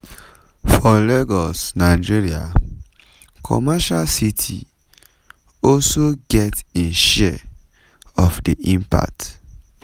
for lagos nigeria commercial city also get im share of di impact.